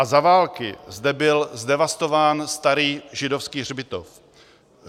A za války zde byl zdevastován starý židovský hřbitov.